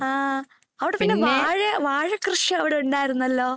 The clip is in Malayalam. ആ അവിടെ വാഴകൃഷി പിന്നെ അവിടെ ഉണ്ടാരുന്നല്ലോ.